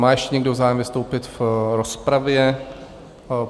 Má ještě někdo zájem vystoupit v rozpravě?